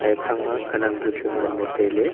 ephang ma khanak bu chu ngan ley tai ley.